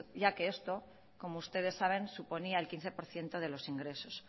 ya que esto como ustedes saben suponía el quince por ciento de los ingresos